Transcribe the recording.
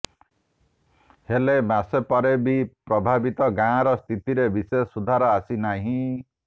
ହେଲେ ମାସେ ପରେ ବି ପ୍ରଭାବିତ ଗାଁର ସ୍ଥିତିରେ ବିଶେଷ ସୁଧାର ଆସିନାହିଁ